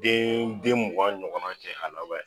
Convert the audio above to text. Den den mugan ɲɔgɔn kɛ ala